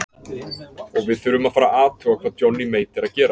Og við þurfum að fara að athuga hvað Johnny Mate er að gera.